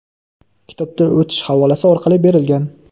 kitobga o‘tish havolasi orqali berilgan.